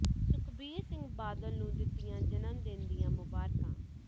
ਸੁਖਬੀਰ ਸਿੰਘ ਬਾਦਲ ਨੂੰ ਦਿੱਤੀਆਂ ਜਨਮ ਦਿਨ ਦੀਆਂ ਮੁਬਾਰਕਾਂ